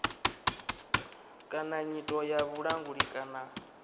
kana nyito ya vhulanguli kana